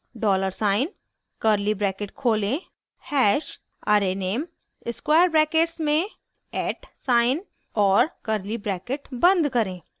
dollar sign $ curly bracket खोलें hash # arrayname square brackets में at sign @ और curly bracket बंद करें